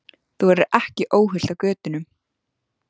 Þú verður ekki óhult á götunum.